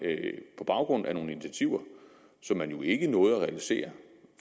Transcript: på baggrund af nogle initiativer som man jo ikke nåede at realisere